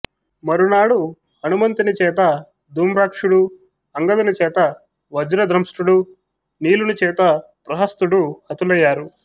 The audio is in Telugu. మరునాడు హనుమంతుని చేత ధూమ్రాక్షుడూ అంగదుని చేత వజ్రదంష్ట్రుడూ నీలునిచేత ప్రహస్తుడూ హతులయ్యారు